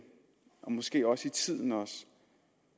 og måske også i tiden